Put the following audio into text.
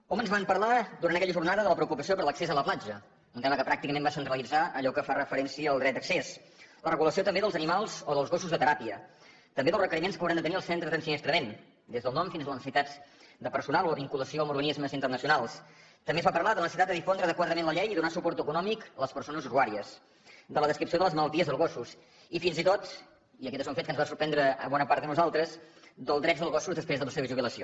hom ens va parlar durant aquella jornada de la preocupació per l’accés a la platja un tema que pràcticament va centralitzar allò que fa referència al dret d’accés la regulació també dels animals o dels gossos de teràpia també dels requeriments que hauran de tenir els centres d’ensinistrament des del nom fins a les necessitats de personal o la vinculació amb organismes internacionals també es va parlar de la necessitat de difondre adequadament la llei i donar suport econòmic a les persones usuàries de la descripció de les malalties dels gossos i fins i tot i aquest és un fet que ens va sorprendre a bona part de nosaltres dels drets dels gossos després de la seva jubilació